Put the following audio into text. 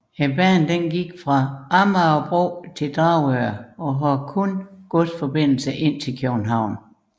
Banen gik fra Amagerbro til Dragør og havde kun godsforbindelse ind til København